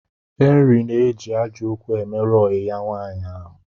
Henry na eji ajo okwu emeru oyi ya nwaanyi ahu